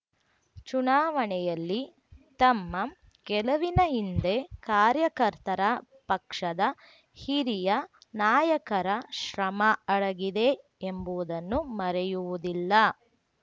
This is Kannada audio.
ಚುನಾವಣೆಯಲ್ಲಿ ತಮ್ಮ ಗೆಲುವಿನ ಹಿಂದೆ ಕಾರ್ಯಕರ್ತರ ಪಕ್ಷದ ಹಿರಿಯ ನಾಯಕರ ಶ್ರಮ ಅಡಗಿದೆ ಎಂಬುದನ್ನು ಮರೆಯುವುದಿಲ್ಲ